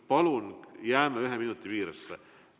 Palun jääme ühe minuti piiresse!